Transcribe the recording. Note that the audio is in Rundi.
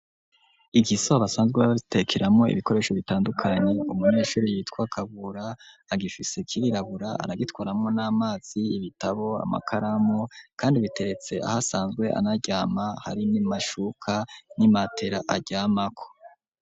Igisoho, basanzwe batekeramwo, ibikoresho bitandukanye; umunyeshuri, yitwa Kabura, agifise kirirabura, aragitwaramwo n'amazi, ibitabo, amakaramu, kandi biteretse, aho asanzwe anaryama; hari n'amashuka, n'imatera aryamako.